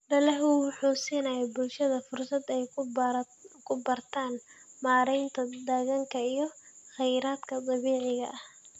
Dalaggu wuxuu siinayaa bulshada fursad ay ku bartaan maareynta deegaanka iyo kheyraadka dabiiciga ah.